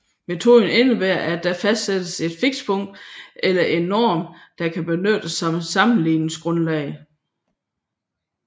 Metoden indebærer at der fastsættes et fikspunkt eller en norm der kan benyttes som sammenligningsgrundlag